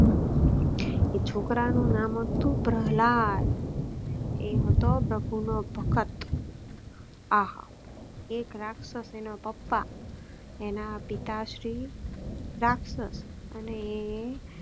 એ છોકરા નું નામ હતું પ્રહલાદ. એ હતો પ્રભુ નો ભકત. એક રાક્ષસ એના પપ્પા એના પિતાશ્રી રાક્ષસ અને